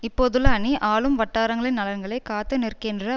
இப்போதுள்ள அணி ஆளும் வட்டாரங்களின் நலன்களை காத்துநிற்கின்ற